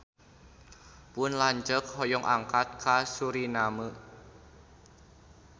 Pun lanceuk hoyong angkat ka Suriname